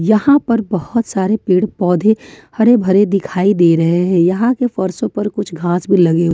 यहां पर बहुत सारे पेड़ पौधे हरे भरे दिखाई दे रहे हैं यहां के फर्शों पर कुछ घास भी लगे--